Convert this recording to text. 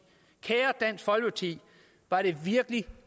kære dansk folkeparti var det virkelig